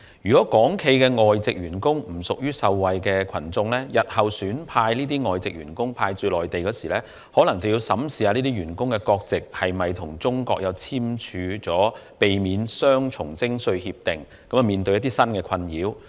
如果港企的外籍員工不屬於受惠群眾，日後企業選派外籍員工駐守內地時，可能要審視這些員工所屬的國家，是否曾與中國簽署避免雙重徵稅協定，因而可避免困擾。